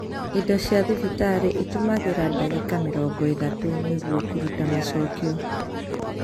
Ido cia thibitarĩ itũmagĩra dagĩka mĩrongo ĩthatũ nĩguo kũruta macokio